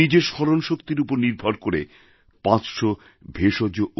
উনি নিজের স্মরণশক্তির উপর নির্ভর করে পাঁচশ ভেষজ